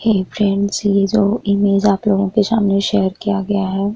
हेय friends ये जो image आप लोगो के सामने शेयर किया गया है --